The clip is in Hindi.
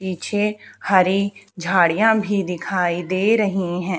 पीछे हरि झाड़ियां भी दिखाई दे रही हैं।